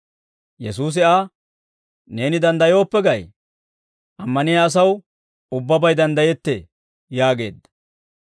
Yesuusi Aa, «Neeni danddayooppe gay? Ammaniyaa asaw ubbabay danddayettee» yaageedda.